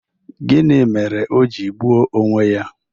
Gịnị mere o ji gbuo onwe ya?